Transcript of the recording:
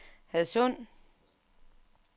Hadsund